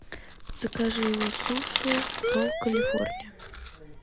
закажи суши ролл калифорния